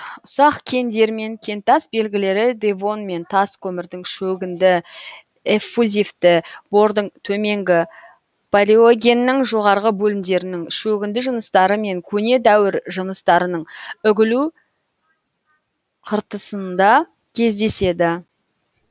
ұсақ кендер мен кентас белгілері девон мен тас көмірдің шөгінді эффузивті бордың төменгі палеогеннің жоғарғы бөлімдерінің шөгінді жыныстары мен көне дәуір жыныстарының үгілу қыртысында кездеседі